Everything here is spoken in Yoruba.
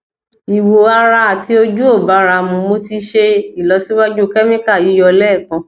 iwo ara ati oju o bara mu mo ti se ilosiwaju chemical yiyo lekan